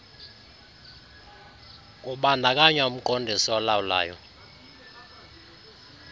kubandakanywa umqondisi olawulayo